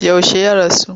Yaushe ya rasu?